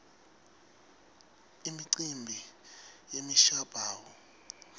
imicimbi yemishabuo